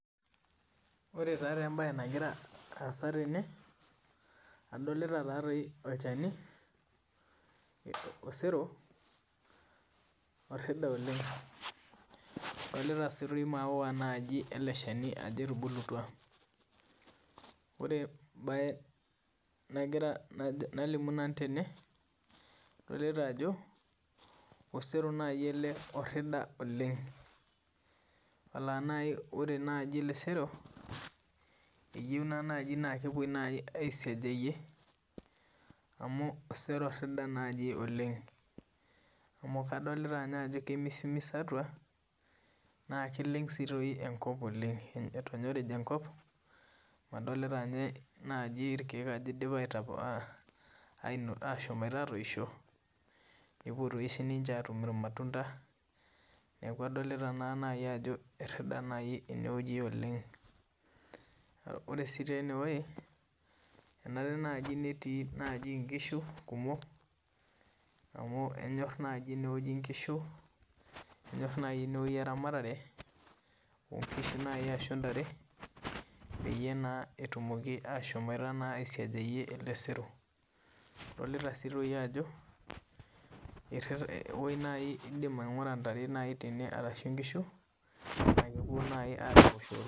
Ore taa embae nagira aasa tene adolita ajo osero ele orida oleng adolita sii toi maua ele Shani ajo etubulutua oleng ore embae nalimu nalimu nanu tene adolita ajo osero naaji ele orida oleng alaa naaji ore ele sero eyieu naaji nedungi aisiejayie amu osero naaji orida oleng amu kadolita ninye ajo kemisimis atua naa keleng sii toi enkop oleng etonyorija enkop amu adolita ninye naaji rkiek ajo eidipa ashomoita atoishoo epoita siinche atum rmatunda niaku adolita naa naaji ajo erida naa ene wueji oleng ore sii taa ene wueji enara sii taa netii nkishu kumok amu enyorr naaji ene wueji nkishu enyorr naaji ene wueji eramatare nkishu naaji arashu ntare pee etum naaji ashamoita naaji aisiejayie doi ele sero adolita sii toi ajo indim naaji aingura tene wueji ntare arashu nkishu naa kepuo naaji aar ele sero